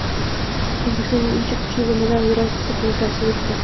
O‘zbekistonda uncha kuchli bo‘lmagan yerosti silkinishlari sezildi.